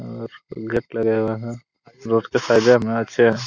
और गट लगाए हुआ है रोड के पहिले मिनट से--